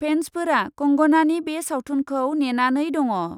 फेन्सफोरा कंगनानि बे सावथुनखौ नेनानै दङ ।